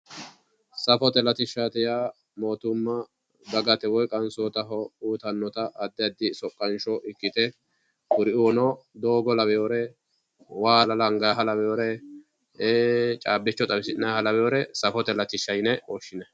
Safote latishshaati yaa moottimma dagate woyi qansootaho uyitannota addi addi soqqansho ikkite kuriuunno doogo lawinori waa lawinori caabbicho xawisi'nayiha lawinore safote latishsha yinayi.